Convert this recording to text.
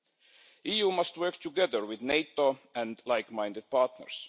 The EU must work together with NATO and like minded partners.